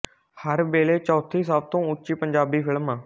ਹਰ ਵੇਲੇ ਚੌਥੀ ਸਭ ਤੋਂ ਉੱਚੀ ਪੰਜਾਬੀ ਫਿਲਮ